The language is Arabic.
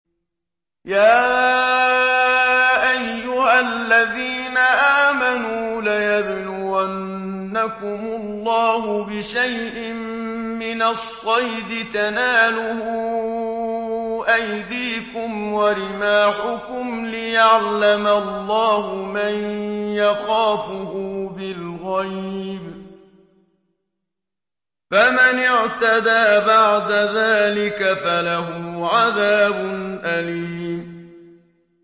يَا أَيُّهَا الَّذِينَ آمَنُوا لَيَبْلُوَنَّكُمُ اللَّهُ بِشَيْءٍ مِّنَ الصَّيْدِ تَنَالُهُ أَيْدِيكُمْ وَرِمَاحُكُمْ لِيَعْلَمَ اللَّهُ مَن يَخَافُهُ بِالْغَيْبِ ۚ فَمَنِ اعْتَدَىٰ بَعْدَ ذَٰلِكَ فَلَهُ عَذَابٌ أَلِيمٌ